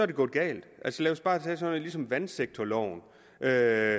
galt lad os bare tage sådan noget som vandsektorloven der